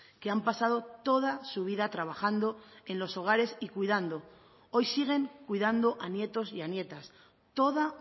que han pasado toda su vida trabajando en los hogares y cuidando hoy siguen cuidando a nietos y a nietas toda